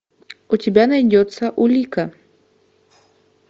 у тебя найдется улика